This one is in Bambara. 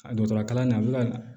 A dɔgɔtɔrɔ kalannen a bɛ ka